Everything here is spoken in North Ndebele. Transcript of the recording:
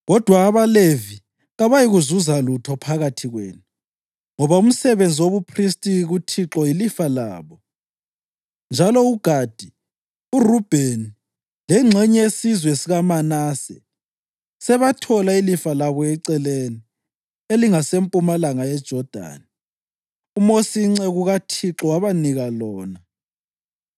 Kodwa abaLevi kabayikuzuza lutho phakathi kwenu, ngoba umsebenzi wobuphristi kuThixo yilifa labo. Njalo uGadi, uRubheni lengxenye yesizwe sikaManase sebathola ilifa labo eceleni elingasempumalanga yeJodani. UMosi inceku kaThixo wabanika lona.”